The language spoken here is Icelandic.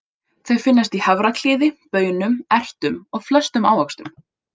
Þau finnast í hafraklíði, baunum, ertum og flestum ávöxtum.